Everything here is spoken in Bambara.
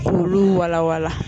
Olu wala wala.